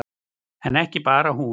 En ekki bara hún.